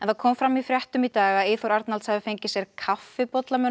það kom fram í fréttum í dag að Eyþór Arnalds hafi fengið sér kaffibolla með